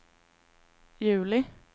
juli